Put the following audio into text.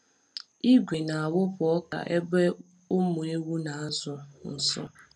Igwe na-awụpụ ọka ebe ụmụ ewu na-azụ nso.